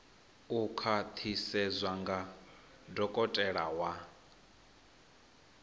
u khwaṱhisedzwa nga dokotela wa